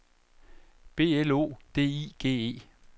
B L O D I G E